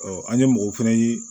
an ye mɔgɔw fɛnɛ ye